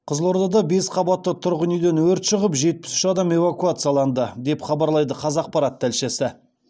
қызылордада бес қабатты тұрғын үйден өрт шығып жетпіс үш адам эвакуацияланды деп хабарлайды қазақпарат тілшісі